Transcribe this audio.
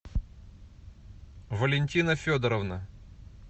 валентина федоровна